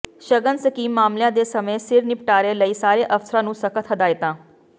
ਸ਼ਗਨ ਸਕੀਮ ਮਾਮਲਿਆਂ ਦੇ ਸਮੇਂ ਸਿਰ ਨਿਪਟਾਰੇ ਲਈ ਸਾਰੇ ਅਫਸਰਾਂ ਨੂੰ ਸਖਤ ਹਦਾਇਤਾਂ